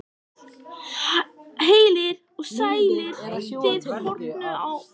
Heilir og sælir, þið horfnu og dánu.